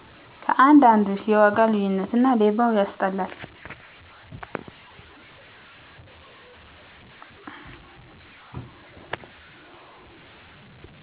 ከአንድ አንዱ የዋጋ ልዩነት እና ሌባው ያስጠላል